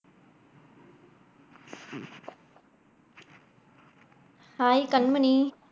Hai Kanmani.